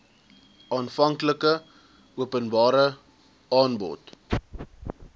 aanvanklike openbare aanbod